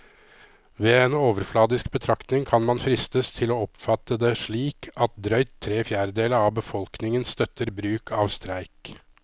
Ved en overfladisk betraktning kan man fristes til å oppfatte det slik at drøyt tre fjerdedeler av befolkningen støtter bruk av streik.